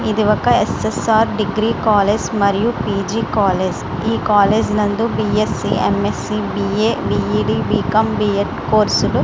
ఇది ఒక S S R degree college మరియు పీజీ కాలేజ్ . ఈ కాలేజ్ నందు BSc M S C BA BEd BCom BEd course లు--